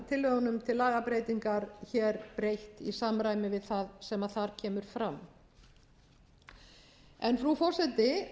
til lagabreytingar hér er breytt í samræmi við það sem þar kemur fram frú forseti